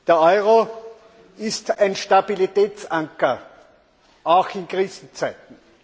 Der Euro ist ein Stabilitätsanker, auch in Krisenzeiten.